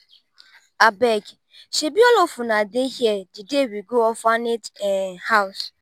abeg shebi all of una dey here the day we go orphanage um house.